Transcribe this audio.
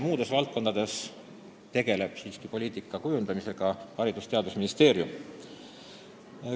Muudes valdkondades tegeleb poliitika kujundamisega siiski Haridus- ja Teadusministeerium.